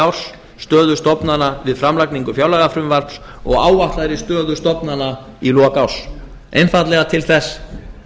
árs stöðu stofnana við framlagningu fjárlagafrumvarps og áætlaðri stöðu stofnana í lok árs einfaldlega til að